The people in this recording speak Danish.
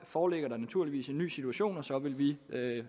foreligger der naturligvis en ny situation og så vil vi